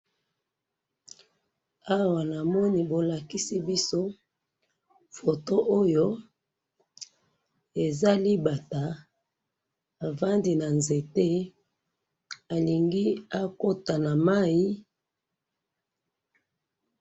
awa namoni bolakisi biso photo oyo eza libata afandi na nzete alingi akota na mayi.